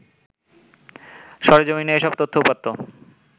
সরেজমিনে এসব তথ্য-উপাত্ত